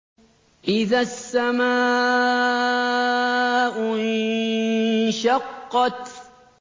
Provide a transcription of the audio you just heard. إِذَا السَّمَاءُ انشَقَّتْ